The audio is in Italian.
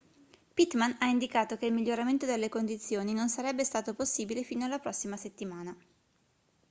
pittman ha indicato che il miglioramento delle condizioni non sarebbe stato possibile fino alla prossima settimana